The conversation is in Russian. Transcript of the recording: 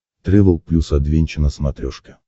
трэвел плюс адвенча на смотрешке